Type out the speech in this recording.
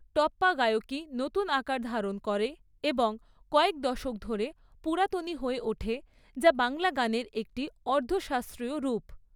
টপ্পা গায়কী নতুন আকার ধারণ করে এবং কয়েক দশক ধরে পুরাতনি হয়ে ওঠে যা বাংলা গানের একটি অর্ধ শাস্ত্রীয় রূপ।